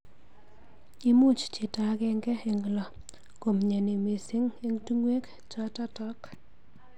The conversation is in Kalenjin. Imuch chito agenge eng lo komnyeni mising eng tungwek chototok.